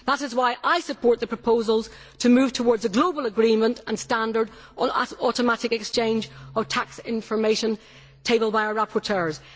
That is why I support the proposals to move towards a global agreement and standard on automatic exchange of tax information tabled by our rapporteurs.